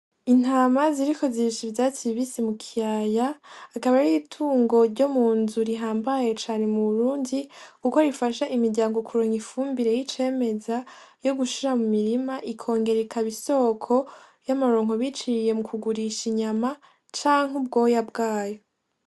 Intama ziriko zirisha ivyatsi bibisi mu kiyaya akaba ari itungo ryo munzu rihambaye cane mu Burundi kuko rifasha imiryango kuronka ifumbire y'icemeza yo gushira mu mirima ikongera ikaba isoko y'amaronko biciye mu kugurisha inyama canke ubwoya bwayo.